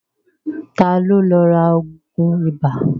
Ta ló lọ ra ògùn ibà?